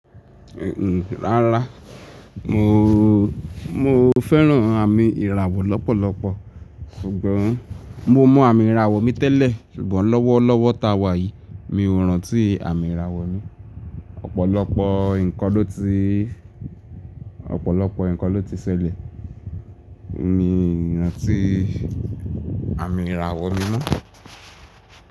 Rárá, mo fẹ́ràn àmì ìràwọ̀ lọ́pọ̀lọpọ̀, ṣùgbọ́n mo mọ àmì ìràwọ̀ mi tẹ́lẹ̀ ṣùgbọ́n lọ́wọ́lọ́wọ́ táwà yìí mi ò rántí àmì ìràwọ̀ mi. Ọ̀pọ̀lọpọ̀ nǹkan ló ti ṣẹlẹ̀, mi i rántí àmì ìràwọ̀ mi mọ́.